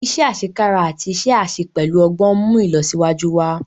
iṣé asekara àti iṣé àṣẹ pẹlú ogbón nmú ilọsiwaju wá.